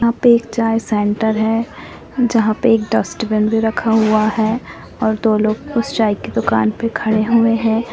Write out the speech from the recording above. यहां पे एक चाय सेंटर है जहां पे एक डस्टबिन भी रखा हुआ हैदो लोग उस चाय की दुकान पे खड़े हुए है।